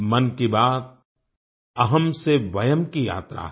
मन की बात अहम् से वयम् की यात्रा है